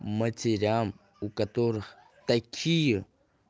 матерям у которых такие